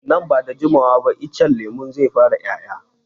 Nan ba da jimawa ba icen lemun zai fara 'ya'ya.